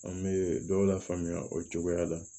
An bɛ dɔw lafaamuya o cogoya la